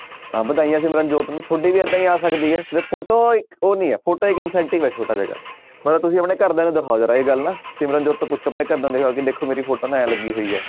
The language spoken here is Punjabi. ਤਾਂ ਵਧਾਈਆਂ ਸਿਮਰਨਜੋਤ ਨੂੰ ਤੁਹਾਡੀ ਵੀ ਏਦਾਂ ਹੀ ਆ ਸਕਦੀ ਹੈ ਤੇ photo ਇੱਕ ਉਹ ਨੀ ਹੈ photo ਇੱਕ incentive ਹੈ ਛੋਟਾ ਜਿਹਾ ਮਗਰ ਤੁਸੀਂ ਆਪਣੇ ਘਰਦਿਆਂ ਨੂੰ ਦਿਖਾਓ ਏਹ ਗੱਲ ਨਾ ਸਿਮਰਨਜੋਤ ਤੋਂ ਪੁੱਛੋ ਆਪਣੇ ਘਰਦਿਆਂ ਨੂੰ ਦਿਖਾਓ ਕਿ ਦੇਖੋ ਮੇਰੀ photo ਇਉਂ ਲੱਗੀ ਹੋਈ ਹੈ।